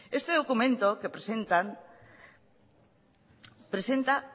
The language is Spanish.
este documento que presentan presenta